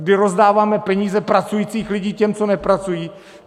My rozdáváme peníze pracujících lidí těm, co nepracují!